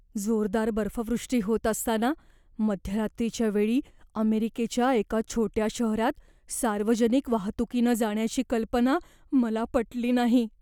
जोरदार बर्फवृष्टी होत असताना मध्यरात्रीच्या वेळी अमेरिकेच्या एका छोट्या शहरात सार्वजनिक वाहतुकीनं जाण्याची कल्पना मला पटली नाही.